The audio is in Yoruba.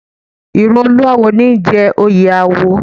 Ìran olúáwo ní í jẹ oyè awo